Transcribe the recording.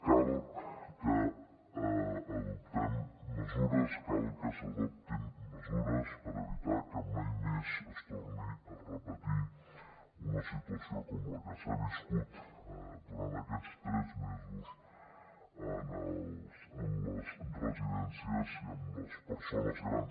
cal que adoptem mesures cal que s’adoptin mesures per evitar que mai més es torni a repetir una situació com la que s’ha viscut durant aquests tres mesos en les residències i amb les persones grans